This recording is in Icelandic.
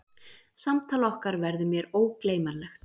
Samtal okkar verður mér ógleymanlegt.